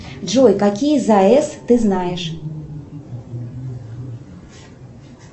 джой какие заэс ты знаешь